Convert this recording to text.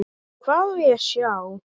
Hvað á ég að sjá?